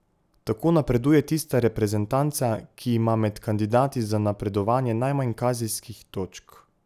Tako napreduje tista reprezentanca, ki ima med kandidati za napredovanje najmanj kazenskih točk.